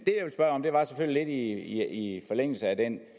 det er lidt i forlængelse af den